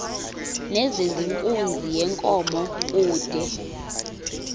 nezenkunzi yenkomo kude